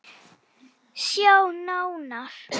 Sjá nánar